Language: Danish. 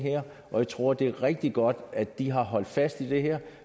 og jeg tror det er rigtig godt at de har holdt fast i det her